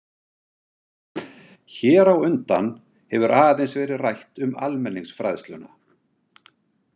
Hér á undan hefur aðeins verið rætt um almenningsfræðsluna.